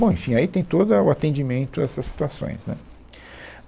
Bom, enfim, aí tem todo a, o atendimento a essas situações, né